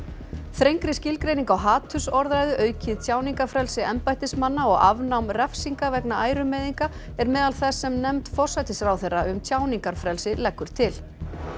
þrengri skilgreining á hatursorðræðu aukið tjáningarfrelsi embættismanna og afnám refsinga vegna ærumeiðinga er meðal þess sem nefnd forsætisráðherra um tjáningarfrelsi leggur til